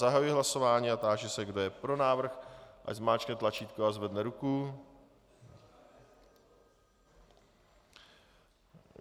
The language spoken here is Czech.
Zahajuji hlasování a táži se, kdo je pro návrh, ať zmáčkne tlačítko a zvedne ruku.